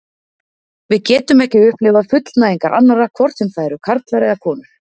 Við getum ekki upplifað fullnægingar annarra, hvort sem það eru karlar eða konur.